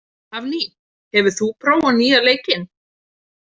Hafný, hefur þú prófað nýja leikinn?